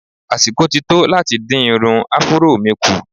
Àsìkò ti tó láti dín irun Afuró mi kù.